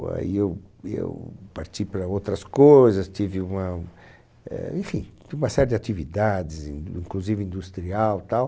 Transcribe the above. aí eu eu parti para outras coisas, tive uma... Eh, enfim, tive uma série de atividades e, inclusive industrial, tal.